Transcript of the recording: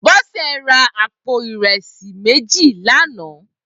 Bose rà àpó irẹsi méji lànã